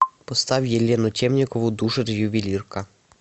поставь елену темникову душит ювелирка